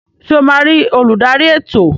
Ṣe o ma ri oludari ètò?